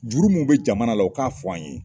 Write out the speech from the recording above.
Juru mun bɛ jamana la o k'a fɔ an ye.